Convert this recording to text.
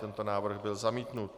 Tento návrh byl zamítnut.